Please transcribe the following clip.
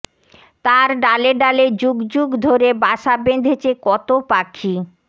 তার ডালে ডালে যুগ যুগ ধরে বাসা বেঁধেছে কত পাখি